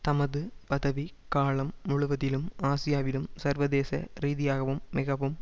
தமது பதவிக் காலம் முழுவதிலும் ஆசியாவிலும் சர்வதேச ரீதியாகவும் மிகவும்